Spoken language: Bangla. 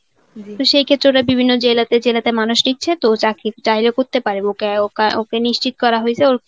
তো সেই ক্ষেত্রে ওরা বিভিন্ন জেলাতে জেলাতে মানুষ নিচ্ছে তো চাকরি চাইলে করতে পারে. ওকে নিশ্চিত করা হয়েছে.